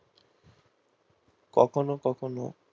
কখনও কখনও